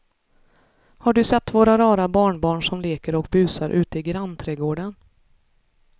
Har du sett våra rara barnbarn som leker och busar ute i grannträdgården!